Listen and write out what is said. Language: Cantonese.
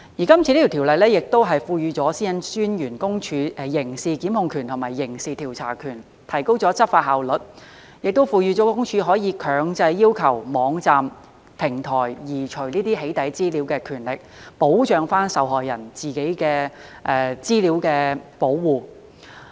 今次的《條例草案》亦賦予私隱公署刑事檢控權和刑事調查權，提高執法效率，亦賦予私隱公署可以強制要求網站、平台移除"起底"資料的權力，保障受害人在個人資料方面的保護。